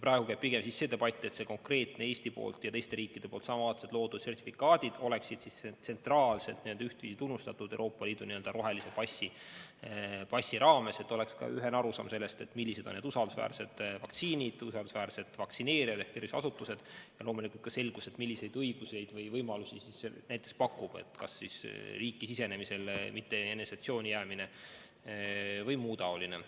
Praegu käib pigem debatt, et see konkreetne Eesti sertifikaat ja samalaadsed teiste riikide loodud sertifikaadid oleksid tsentraalselt tunnustatud Euroopa Liidu rohelise passi raames, et oleks ka ühene arusaam, millised on usaldusväärsed vaktsiinid, usaldusväärsed vaktsineerijad ehk terviseasutused, ja loomulikult ka selgus, milliseid õigusi või võimalusi see pakub, näiteks riiki sisenemisel mitte eneseisolatsiooni jäämine ja muu selline.